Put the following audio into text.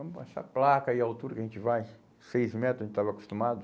Essa placa aí, a altura que a gente vai, seis metros, a gente estava acostumado.